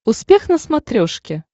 успех на смотрешке